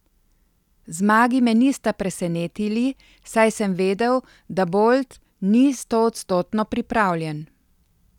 Zmagi me nista presenetili, saj sem vedel, da Bolt ni stoodstotno pripravljen.